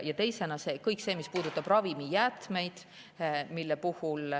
Teiseks kõik see, mis puudutab ravimijäätmeid.